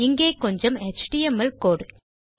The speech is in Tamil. இங்கே கொஞ்சம் எச்டிஎம்எல் கோடு